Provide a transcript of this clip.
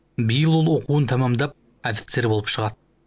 биыл ол оқуын тәмамдап офицер болып шығады